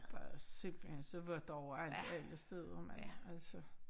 Der er simpelthen så vådt overalt alle steder mand altså